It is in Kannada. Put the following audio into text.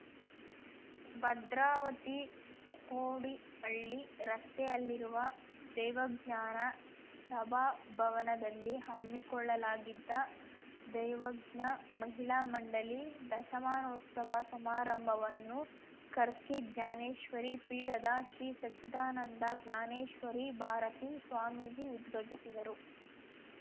ಭದ್ರಾವತಿ ಕೋಡಿಹಳ್ಳಿ ರಸ್ತೆಯಲ್ಲಿರುವ ದೈವಜ್ಞ ಸಭಾಭವನದಲ್ಲಿ ಹಮ್ಮಿಕೊಳ್ಳಲಾಗಿದ್ದ ದೈವಜ್ಞ ಮಹಿಳಾ ಮಂಡಳಿ ದಶಮಾನೋತ್ಸವ ಸಮಾರಂಭವನ್ನು ಕರ್ಕಿ ಜ್ಞಾನೇಶ್ವರಿ ಪೀಠದ ಶ್ರೀ ಸಚ್ಚಿದಾನಂದ ಜ್ಞಾನೇಶ್ವರಿ ಭಾರತಿ ಸ್ವಾಮೀಜಿ ಉದ್ಘಟಿಸಿದರು